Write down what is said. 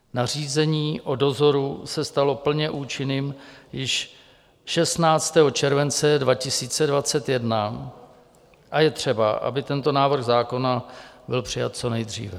Nařízení o dozoru se stalo plně účinným již 16. července 2021 a je třeba, aby tento návrh zákona byl přijat co nejdříve.